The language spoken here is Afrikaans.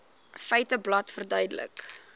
feiteblad verduidelik